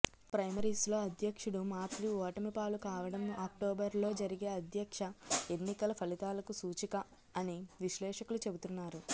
ప్రైమరీస్లో అధ్యక్షుడు మాక్రి ఓటమి పాలు కావటం అక్టోబర్లో జరిగే అధ్యక్ష ఎన్నికల ఫలితాలకు సూచిక అని విశ్లేషకులు చెబుతున్నారు